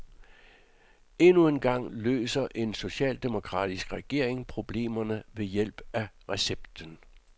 Endnu en gang løser en socialdemokratisk regering problemerne ved hjælp af recepten.